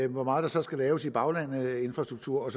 hvor meget der så skal laves i baglandet af infrastruktur